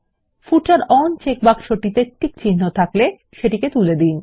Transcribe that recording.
ফুটার on চেকবক্সটিতে টিকচিহ্ন থাকলে সেটিকে তুলে দিন